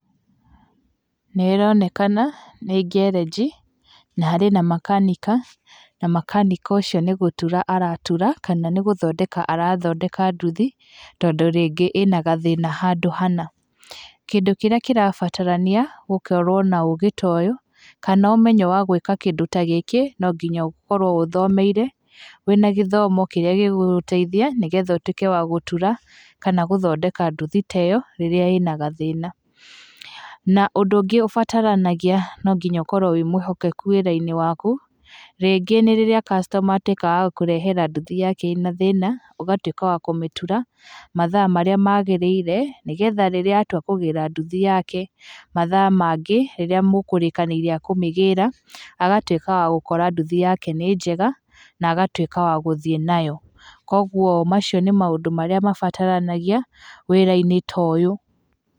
Nĩ ĩronekana nĩ ngerenji, na harĩ na makanika, na makanika ũcio nĩ gũtura aratura kana nĩ gũthondeka arathondeka nduthi, tondũ rĩngĩ ĩna gathĩna handũ hana. Kĩndũ kĩrĩa kĩrabatarania gũkorwo na ũgĩ ta ũyũ, kana ũmenyo wa gwĩka kĩndũ ta gĩkĩ no nginya ũkorwo ũthomeire, wĩna gĩthomo kĩrĩa gĩgũgũteithia nĩgetha ũtuĩke wa gũtura kana gũthondeka nduthi ta ĩyo rĩrĩa ĩna gathĩna, na ũndũ ũngĩ ũbataranagia no nginya ũkorwo wĩ mwĩhokeku wĩra-inĩ waku, rĩngĩ nĩ rĩrĩa customer atuĩka wa gũkũrehera nduthi yake ĩna thĩna, ũgatuĩka wa kũmĩtura mathaa marĩa magĩrĩire, nĩgetha rĩrĩa atua kũgĩra nduthi yake mathaa mangĩ rĩrĩa mũkũrĩkanĩire akũmĩgĩra, agatuĩka wa gũkora nduthi yake nĩ njega, na agatuĩka wa gũthiĩ nayo. Koguo macio nĩ maũndũ marĩa mabataranagia wĩra-inĩ ta ũyũ.